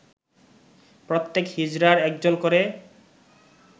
প্রত্যেক হিজড়ার একজন করে